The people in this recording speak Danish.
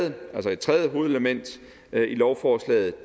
et tredje hovedelement i lovforslaget